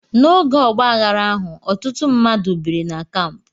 N'oge ọgbaaghara ahụ, ọtụtụ mmadụ biri na kampụ.